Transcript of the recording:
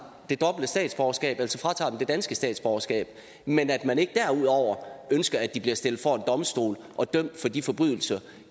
det dobbelte statsborgerskab altså fratager dem det danske statsborgerskab men at man ikke derudover ønsker at de bliver stillet for en domstol og dømt for de forbrydelser